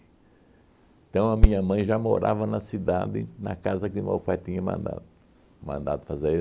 Então, a minha mãe já morava na cidade, na casa que meu pai tinha mandado mandado fazer.